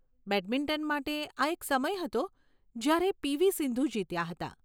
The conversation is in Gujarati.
બેડમિન્ટન માટે, આ એક સમય હતો જ્યારે પી. વી. સિંધુ જીત્યાં હતાં.